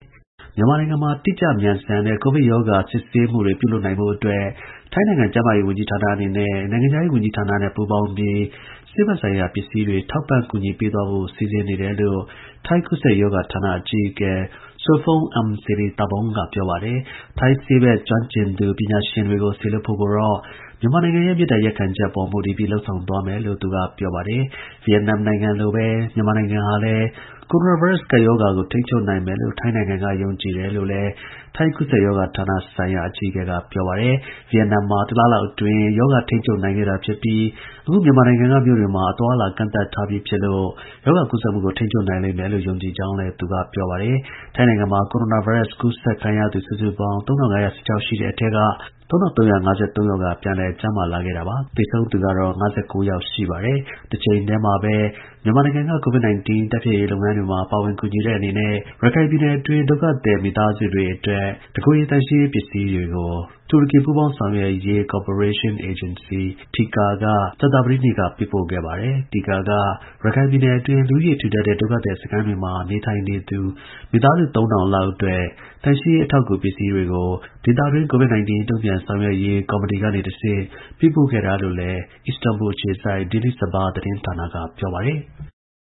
မြန်မာနိုင်ငံမှာ တိကျ မြန်ဆန်တဲ့ ကိုဗစ်ရောဂါ စစ်ဆေးရေးတွေပြုလုပ်နိုင်ဖို့ အတွက် ထိုင်းနိုင်ငံ ကျန်းမာရေးဝန်ကြီးဌာနနဲ့ နိုင်ငံခြားရေးဝန်ကြီး ဌာန တို့က ပူးပေါင်းပြီး ဆေးဘက်ဆိုင်ရာ ပစ္စည်းတွေထောက်ပံ့ ကူညီပေးသွားဖို့ စီစဉ်နေတယ်လို့ ထိုင်း ကူးစက်ရောဂါ ဌာနအကြီးအကဲ Sophon Iamsirithavorn က ပြောပါတယ်။ ထိုင်းဆေးဘက် ကျွမ်းကျင်ပညာရှင်တွေကိုစေလွှတ်ဖို့ကိုတော့မြန်မာ နိုင်ငံရဲ့ မေတ္တာရပ်ခံချက်ပေါ်မူတည်ပြီး လုပ်ဆောင် သွားမယ်လို့လည်း သူက ပြောပါတယ်။ ဗီယက်နမ်လိုပဲ မြန်မာနိုင်ငံဟာ လည်း ကိုရိုနာဗိုင်းရပ်စ်ကပ်ရောဂါကိုထိန်းချုပ်နိုင်မယ်လို့ ထိုင်းက ယုံကြည်တယ်လို့လည်းထိုင်းကူးစက်ရောဂါဆိုင်ရာဌာနအကြီးအကဲ ပြောပါတယ်။ ဗီယက်နမ်မှာ တလလောက်အတွင်း ရောဂါထိန်းချုပ်နိုင်ခဲ့တာဖြစ်ပြီး အခုမြန်မာနိုင်ငံ မြို့တွေမှာအသွားအလာတွေကန့်သတ် ထား ပြီးဖြစ် လို့ ရောဂါကူးစက်မှုကို ထိန်းချုပ်နိုင်လိမ့်မယ်လို့ ယုံကြည်ကြောင်းလည်း ပြောပါတယ်။ ထိုင်းနိုင်ငံမှာ ကိုရိုနာဗိုင်းရပ်စ် ကူးစက်သူ စုစုပေါင်း ၃၅၁၆ ယောက်ရှိပြီး ၃၃၅၃ ယောက်ကပြန်လည် ကျန်းမာလာခဲ့သလို သေဆုံးသူက ၅၉ ယောက်ရှိပါတယ် ။ တချိန်တည်းမှာပဲ မြန်မာနိုင်ငံ COVID 19 တိုက်ဖျက်ရေးလုပ်ငန်းတွေ မှာ ပါဝင်ကူညီတဲ့အနေနဲ့ ရခိုင်ပြည်နယ်တွင်း ဒုက္ခသည် မိသားစုတွေအတွက် တစ်ကိုယ်ရေသန့်ရှင်းရေးပစ္စည်းတွေကို တူရကီ ပူးပေါင်းဆောင်ရွက်ရေး ကော်ပရေးရှင်း အေဂျင်စီ (TIKA) က ကြာသပတေးနေ့က ပေးပို့ခဲ့ပါတယ်။ (TIKA) က ရခိုင်ပြည်နယ်တွင်း လူဦးရေထူထပ်တဲ့ ဒုက္ခသည်စခန်းတွေမှာ နေထိုင်နေသူ မိသားစု ၃၀၀၀ လောက်အတွက် သန့်ရှင်းရေး အထောက်အကူပြု ပစ္စည်းတွေကို ဒေသတွင်း COVID-19 တုန့်ပြန်ဆောင်ရွက်ရေး ကော်မတီကနေ တဆင့် ပေးပို့ခဲ့တာလို့လည်း အစ္စတန်ဘူလ်ခြေစိုက် Daily Sabah သတင်းဌာနက ပြောပါတယ်။